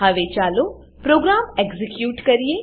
હવે ચાલો program execute કરીએ